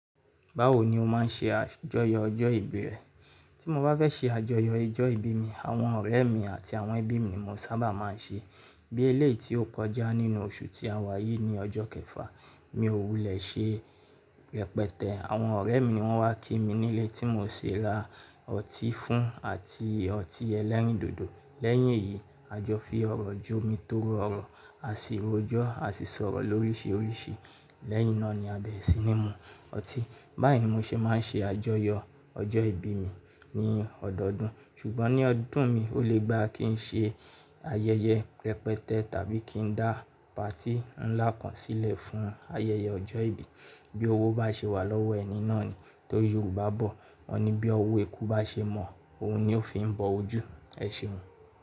Báwo ni o máa ń ṣe àjọyọ̀ ọjọ́ ìbí rẹ? Tí mo bá fẹ́ ṣe àjọyọ̀ ọjọ́ ìbí mi, àwọn ọ̀rẹ́ mi àti àwọn ẹbí mi ni mo sábà máa ń ṣe. Bí eléyìí tí ó kọjá nínú oṣù tí a wà yìí ni ọjọ́ kẹfà, mi ò wulẹ̀ ṣe rẹpẹtẹ. Àwọn ọ̀rẹ́ mi ni wọ́n wá kí mi nílé tí mo sè ra ọtí fún àti ọtí ẹlẹ́rìndòdò. Lẹ́yìn èyí, a jọ fi ọ̀rọ̀ ju mi tó rórun, a sì rojọ́, a sì sọ̀rọ̀ lóríṣiríṣi. Lẹ́yìn náà ni a bẹ̀re sinímù ọtí. Báyìí ni mo ṣe máa ń ṣe àjọyọ̀ ọjọ́ ìbí mi ní ọdọodún. Ṣùgbọ́n ní ọdún mi, ó lè gba kí n ṣe ayẹyẹ rẹpẹtẹ tàbí kí n dá patí ńlá kan sílẹ̀ fún ayẹyẹ ọjọ́ ìbí. Bí owó bá ṣe wà lọ́wọ́ ẹni náà ni. Torí Yorùbá bọ̀, wọ́n ní bí ọwọ́ eku bá ṣe mọ́, òun ni ó fi ń bọ ojú. Ẹ ṣeun.